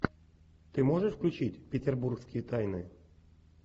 ты можешь включить петербургские тайны